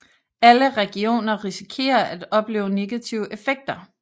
Alle regioner risikerer at opleve negative effekter